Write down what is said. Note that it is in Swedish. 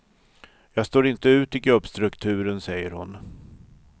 Jag står inte ut i gubbstrukturen, säger hon.